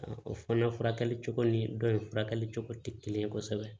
O fana furakɛli cogo ni dɔ in furakɛli cogo tɛ kelen ye kosɛbɛ